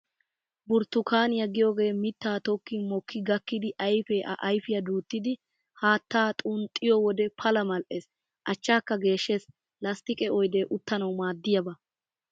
Burttukaaniyaa giyoogee mittaa tokkin mokki gakkidi ayfee a ayfiyaa duuttidi haattaa xunxxiyo wode pala mal'ees, achchaakka geeshshees. Lasttiqe oydee uttanawu maaddiyaaba.